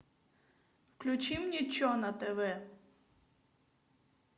включи мне че на тв